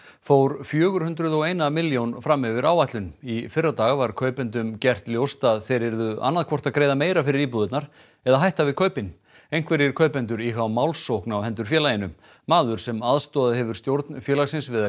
fór fjögur hundruð og eina milljón fram yfir áætlun í fyrradag var kaupendum gert ljóst að þeir yrðu annað hvort að greiða meira fyrir íbúðirnar eða hætta við kaupin einhverjir kaupendur íhuga málsókn á hendur félaginu maður sem aðstoðað hefur stjórn félagsins við að